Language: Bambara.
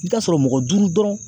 I bɛ t'a sɔrɔ mɔgɔ duuru dɔrɔn